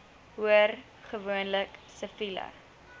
hoor gewoonlik siviele